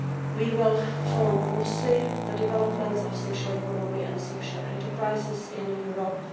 We will follow closely the developments of the social economy and social enterprises in Europe.